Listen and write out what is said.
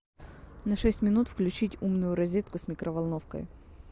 на шесть минут включить умную розетку с микроволновкой